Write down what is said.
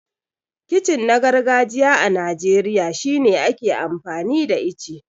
Kicin na gargajiya a Najeriya shine ake amfani da ice.